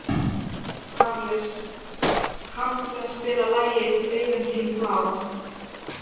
Karles, kanntu að spila lagið „Augun þín blá“?